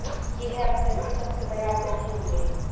ये है अब तक के सबसे बड़े आतंकी हमले